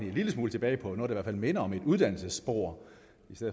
en lille smule tilbage på noget der i hvert fald minder om et uddannelsesspor